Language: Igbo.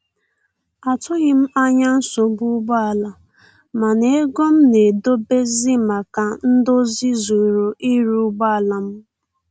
Atụghị m anya nsogbu ụgbọ ala, mana ego m na-edebezi maka ndozi zuru ịrụ ụgbọ ala m